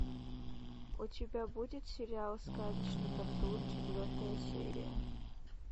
у тебя будет сериал сказочный патруль четвертая серия